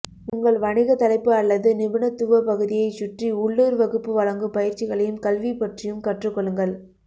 உங்கள் வணிக தலைப்பு அல்லது நிபுணத்துவ பகுதியைச் சுற்றி உள்ளூர் வகுப்பு வழங்கும் பயிற்சிகளையும் கல்வி பற்றியும் கற்றுக் கொள்ளுங்கள்